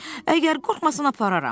Əgər qorxmasan apararam.